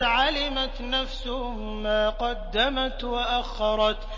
عَلِمَتْ نَفْسٌ مَّا قَدَّمَتْ وَأَخَّرَتْ